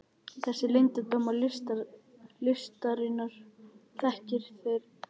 Þessa leyndardóma listarinnar þekkið þér eflaust miklu betur en ég.